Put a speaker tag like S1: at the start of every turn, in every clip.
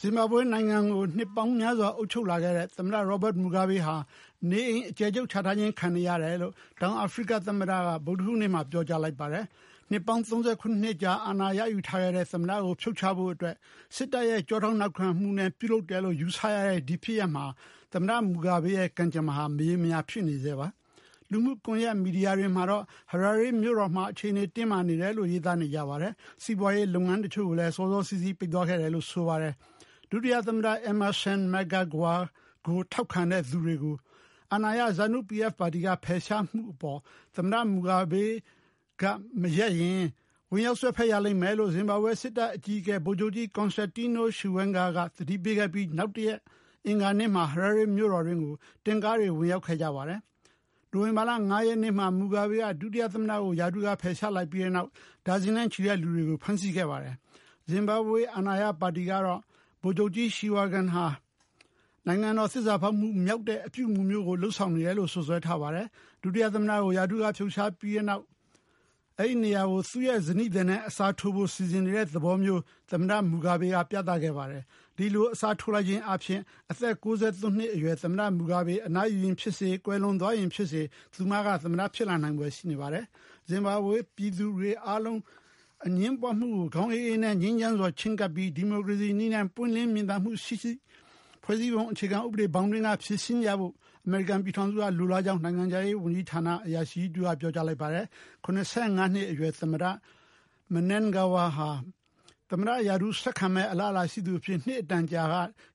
S1: ဇင်ဘာဘွေရဲ့နိုင်ငံကို နှစ်ပေါင်းများစွာအုပ်ချုပ်လာတဲ့ သမ္မတ Robert Mugabe ဟာ နေအိမ်အကျယ်ချုပ်ချထားခံနေရတယ်လို့ တောင် အာဖရိက သမ္မတက ဗုဒ္ဓဟူးနေ့မှာ ပြောကြားလိုက်ပါတယ်။ နှစ်ပေါင်း ၃၇ နှစ်ကြာ အာဏာရယူထားခဲ့တဲ့ သမ္မတကိုဖြုတ်ချဖို့ အတွက် စစ်တပ်ရဲ့ ကျောထောက်နောက်ခံမှုနဲ့ ပြုလုပ်တယ်လို့ ယူဆရတဲ့ ဒီဖြစ်ရပ်မှာ သမ္မတ Mugabe ရဲ့ကံကြမ္မာဟာ မရေမရာ ဖြစ်နေဆဲပါ။ လူမှု ကွန်ယက် မီဒီယာတွေမှာတော့ Harare မြို့တော်မှာ အခြေအနေတင်းမာနေတယ်လို့ ရေးသားနေကြပါတယ်။ စီးပွားရေးလုပ်ငန်းတချို့လည်း စောစောစီးစီး ပိတ်သွားခဲ့တယ်လို့ ဆိုပါတယ်။ ဒုတိယသမ္မတ Emmerson Mnangagwa ထောက်ခံတဲ့သူတွေကို အာဏာရ ZANU-PF ပါတီက ဖယ်ရှားမှုကို သမ္မတ Mugabe က မရပ်ရင် ဝင်ရောက်စွက်ဖက်ရလိမ့်မယ်လို့ ဇင်ဘာဘွေ စစ်တပ်အကြီးအကဲ ဗိုလ်ချုပ်ကြီး Constantino Chiwenga က သတိပေးခဲ့ပြီး နောက်တရက် အင်္ဂါနေ့မှာ Harare မြို့တော်တွင်းကို တင့်ကားတွေ ဝင်ရောက်ခဲ့ကြပါ တယ်။ နိုဝင်ဘာလ ၅ ရက်နေ့မှာ Mugabe က ဒုတိယသမ္မတကို ရာထူးက ဖယ်ရှားခဲ့ပြီး တဲ့နောက် ဒါဇင်နဲ့ချီတဲ့လူတွေကို ဖမ်းဆီးခဲ့ပါတယ်။ ဇင်ဘာဘွေ အာဏာရပါတီကတော့ ဗိုလ်ချုပ်ကြီး Chiwenga ဟာ နိုင်ငံတော် သစ္စာဖောက်မှုမြောက်တဲ့ အပြုအမူမျိုး လုပ်ဆောင်နေတယ်လို့ စွပ်စွဲထားပါတယ်။ ဒုတိယသမ္မတကို ရာထူးကဖယ်ရှားခဲ့ပြီးတဲ့နောက် အဲဒီနေရာမှာ သူ့ရဲ့ဇနီးသည်နဲ့ အစားထိုးဖို့ စီစဉ်နေတဲ့သဘောထားမျိုး သမ္မတ Mugabe က ပြသခဲ့ပါတယ်။ ဒီလို အစားထိုးလိုက်ခြင်းအားဖြင့် အသက် ၉၃ နှစ်အရွယ် သမ္မတ Mugabe အနားယူရင် ဖြစ်စေ၊ ကွယ်လွန်သွားရင်ဖြစ်စေ သူမက သမ္မတ ဖြစ်လာနိုင်ဖွယ်ရှိပါတယ်။ ဇင်ဘာဘွေ ပြည်သူတွေအားလုံး အငြင်းပွားမှုကို ခေါင်းအေးအေးနဲ့ ငြိမ်းချမ်းစွာချဉ်းကပ်ပြီး ဒီမိုကရေစီနည်းနဲ့ ပွင့်လင်းမြင်သာမှု ရှိစေပြီး ဖွဲ့စည်းပုံဥပဒေနဲ့အညီ ဖြေရှင်းကြဖို့ အမေရိကန်ပြည်ထောင်စုက လိုလားကြောင်း နိုင်ငံခြားရေးအရာရှိကြီးတဦးက ပြောကြားလိုက်ပါတယ်။ ၇၅ နှစ်အရွယ် ဒုတိယသမ္မတ Mnangagwa ဟာ သမ္မတရာထူး ဆက်ခံမယ့်အလားအလာ ရှိသူအဖြစ် နှစ်အတန်ကြာ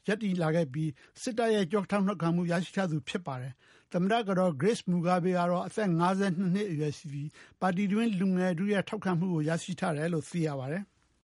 S1: ရှိလာခဲ့ပြီး စစ်တပ်ရဲ့ ကျောထောက်နောက်ခံမှု ရရှိထားသူ ဖြစ်ပါတယ်။ သမ္မတကတော် Grace Mugabe ကတော့ အသက် ၅၂ နှစ်အရွယ်ရှိပြီး ပါတီတွင်း လူငယ်ထုရဲ့ ထောက်ခံမှုကို ရရှိထားတယ်လို့ သိရှိရပါတယ်။